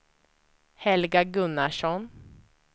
Helga Gunnarsson